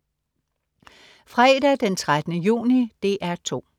Fredag den 13. juni - DR 2: